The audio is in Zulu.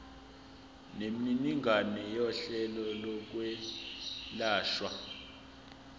nemininingwane yohlelo lokwelashwa